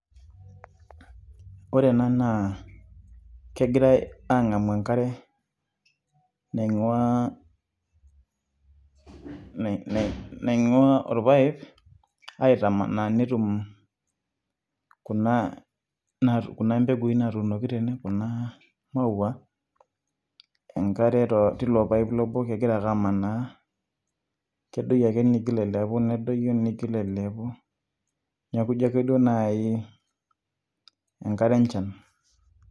Ore ena naa, kegirai ang'amu enkare naing'ua naing'ua orpaip, aitamanaa netum kuna mpegui natuunoki tene, kuna maua enkare tilo paip lobo, kegira ake amanaa. Kedoyio ake niigil ailepu, nedoyio nigil ailepu. Neeku jo ake duo naai, enkare enchan.